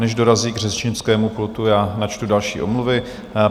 Než dorazí k řečnickému pultu, já načtu další omluvy.